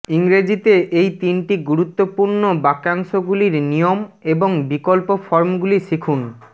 ইংরেজিতে এই তিনটি গুরুত্বপূর্ণ বাক্যাংশগুলির নিয়ম এবং বিকল্প ফর্মগুলি শিখুন